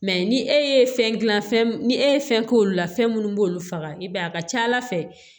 ni e ye fɛn gilan fɛn ni e ye fɛn k'olu la fɛn munnu b'olu faga i b'a ye a ka ca ala fɛ